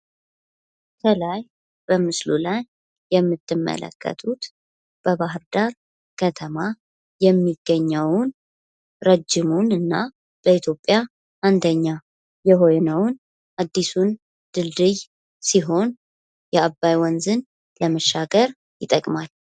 ከላይ በምስሉ ላይ የምትመለከቱት በባህርዳር ከተማ የሚገኘውን እና ረጅሙን በኢትዮጵያ አንደኛ የሆነውን አዲሱ ድልድይ ሲሆን የአባይ ወንዝን ለመሻገር ይጠቅማል።